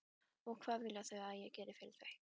Og hvað vilja þau að ég geri fyrir þau?